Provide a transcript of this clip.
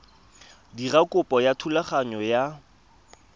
dira kopo ya thulaganyo ya